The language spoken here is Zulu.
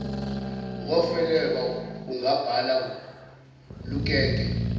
ngofeleba ungabhala lukeke